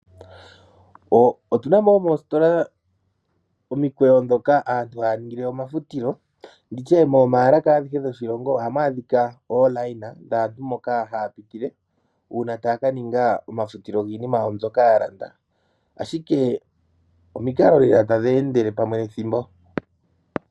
Otunamo moositola omikweyo dhoka aantu haya ningile omafutilo, nditye momaalaka adhishe dhoshilongo ohamu adhika omikweyo dhaantu moka hapitile uuna ta kaninga omafutilo giinima mbyoka ya landa. Omikalo lela tadhi endele pamwe nethimbo